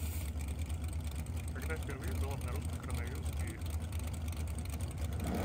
когда впервые был обнаружен коронавирус в мире